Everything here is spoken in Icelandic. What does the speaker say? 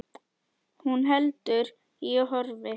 Hún heldur í horfi.